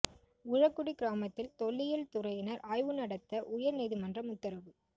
உழக்குடி கிராமத்தில் தொல்லியல் துறையினா் ஆய்வு நடத்த உயா் நீதிமன்றம் உத்தரவு